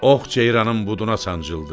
Ox ceyranın buduna sancıldı.